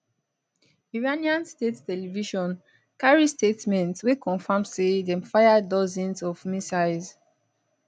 iranian state television carry statement wey confam say dem fire dozens of missiles